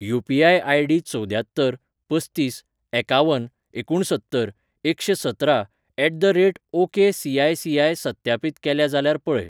UPI. आय.डी.चवद्यात्तर पस्तीस एकावन एकुणसत्तर एकशें सतरा at the rate okay C I CI सत्यापीत केल्या जाल्यार पळय.